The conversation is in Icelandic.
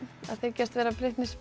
að þykjast vera